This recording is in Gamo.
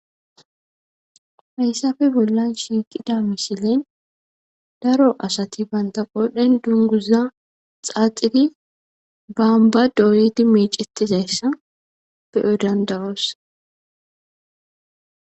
Hayssafe bollan shiiqida mishilen daro asati banta qodhen dunguza xaaxidi boomba doyidi meecetizayssa beyo danda'oos